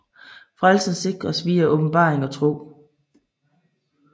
Frelsen sikres via åbenbaring og tro